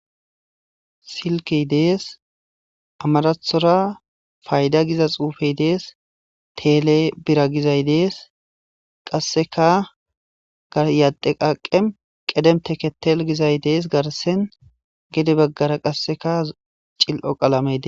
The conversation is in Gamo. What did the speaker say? silki dees amarathora fayda giza xuufey dees tele bira gizay dees qasseka garyadde qaqem qedem teketel gizay dees garsen gede baggara qasseka cil7o qalamede